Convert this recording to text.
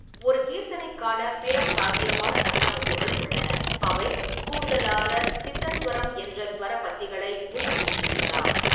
ஒரு கீர்த்தனைக்கான பிற சாத்தியமான கட்டமைப்புகள் உள்ளன, அவை கூடுதலாக சித்தஸ்வரம் என்ற ஸ்வர பத்திகளை உள்ளடக்கியிருக்கலாம்.